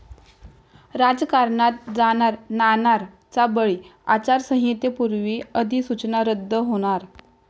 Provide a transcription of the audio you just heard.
राजकारणात जाणार 'नाणार'चा बळी, आचारसंहितेपूर्वी अधिसूचना रद्द होणार!